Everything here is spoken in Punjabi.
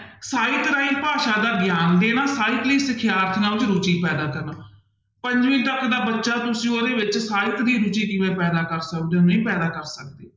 ਸਾਹਿਤ ਰਾਹੀਂ ਭਾਸ਼ਾ ਦਾ ਗਿਆਨ ਦੇਣਾ, ਸਾਹਿਤ ਲਈ ਸਿਖਿਆਰਥੀਆਂ ਵਿੱਚ ਰੁੱਚੀ ਪੈਦਾ ਕਰਨਾ, ਪੰਜਵੀਂ ਤੱਕ ਦਾ ਬੱਚਾ ਤੁਸੀਂ ਉਹਦੇ ਵਿੱਚ ਸਾਹਿਤ ਦੀ ਰੁੱਚੀ ਕਿਵੇਂ ਪੈਦਾ ਕਰ ਸਕਦੇ ਹੋ, ਨਹੀਂ ਪੈਦਾ ਕਰ ਸਕਦੇ,